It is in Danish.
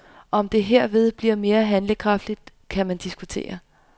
Om det herved blive mere handlekraftigt, kan man diskutere.